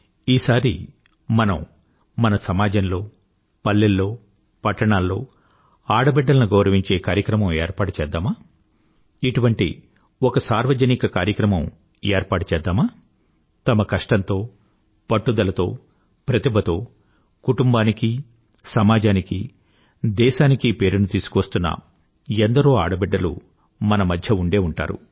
ఈసారి మనం మన సమాజంలో పల్లెల్లో పట్టణాల్లో ఆడబిడ్డలను గౌరవించే కార్యకమం ఏర్పాటు చేద్దామా ఇటువంటి ఒక సార్వజనిక కార్యక్రామం ఏర్పాటు చేద్దామా తమ కష్టంతో పట్టుదలతో ప్రతిభతో కుటుంబానికీ సమాజానికీ దేశానికీ పేరుని తీసుకువస్తున్న ఎందరో ఆడబిడ్డలు మన మధ్య ఉండే ఉంటారు